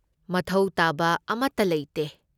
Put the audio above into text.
ꯃꯊꯧ ꯇꯥꯕ ꯑꯃꯠꯇ ꯂꯩꯇꯦ꯫